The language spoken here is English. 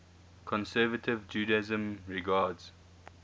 conservative judaism regards